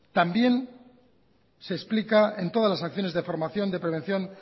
también se explica en todas las acciones de formación de prevención